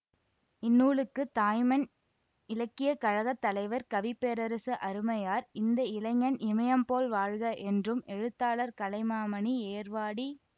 இந்நூலுக்கு தாய்மண் இலக்கியக் கழக தலைவர் கவி பேரரசு அருமையார் இந்த இளைஞன் இமயம் போல் வாழ்க என்றும் எழுத்தாளர் கலைமாமணி ஏர்வாடி